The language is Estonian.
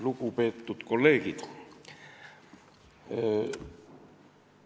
Lugupeetud kolleegid!